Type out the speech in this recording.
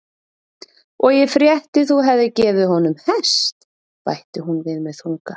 Og ég frétti þú hefðir gefið honum hest, bætti hún við með þunga.